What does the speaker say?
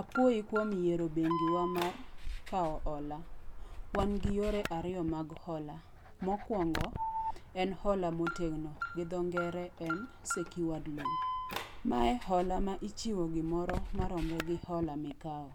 Apuoyi kuom yiero bengiwa mar kawo hola. Wan gi yore ariyo mag hola. Mokuongo, en hola motegno, gi dho ngere en secured loan. Mae hola ma ichiwo gimoro marom gi hola ma ikawo.